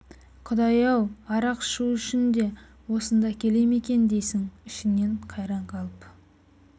құдай-ау арақ шу үшін де осында келе ме екен дейсің ішіңнен қайран қалып